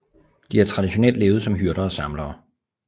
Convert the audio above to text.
De har traditionelt levet som hyrder og samlere